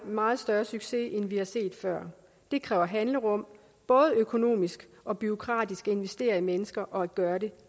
meget større succes end vi har set før det kræver handlerum både økonomisk og bureaukratisk at investere i mennesker og at gøre det